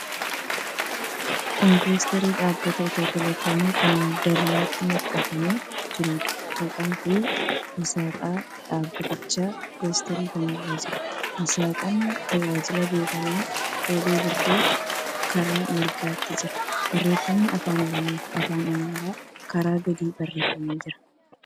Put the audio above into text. Kun poosterii dhaabbata Itiyoo Teelekoomii kan dallaatti maxxanfamee jiruudha. Maqaafi aasxaan dhaabbatichaa poosterii kana irra jira. Aasxaan tajaajila beekamaa 'telebirr's karaa mirgaatiin jira. Barreeffamni afaan Oromoofi afaan Amaaraan karaa gadii barreeffamee jira.